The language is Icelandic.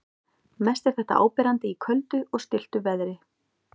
Mest er þetta áberandi í köldu og stilltu veðri.